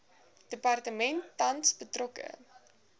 departement tans betrokke